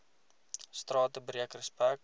strate breek respek